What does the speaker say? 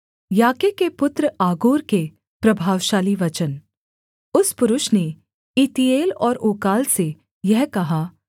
याके के पुत्र आगूर के प्रभावशाली वचन उस पुरुष ने ईतीएल और उक्काल से यह कहा